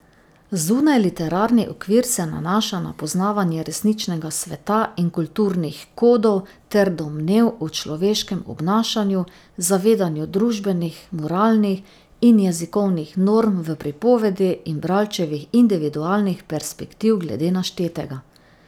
Zunajliterarni okvir se nanaša na poznavanje resničnega sveta in kulturnih kodov ter domnev o človeškem obnašanju, zavedanju družbenih, moralnih in jezikovnih norm v pripovedi in bralčevih individualnih perspektiv glede naštetega.